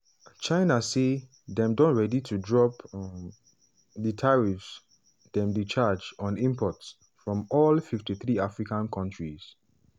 china say dem don ready to drop um di tariffs dem dey charge on imports from all 53 african kontris